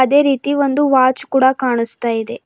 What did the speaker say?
ಅದೇ ರೀತಿ ಒಂದು ವಾಚ್ ಕೂಡ ಕಾಣಸ್ತಾಇದೆ.